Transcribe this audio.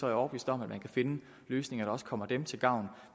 jeg overbevist om at man kan finde løsninger der også kommer dem til gavn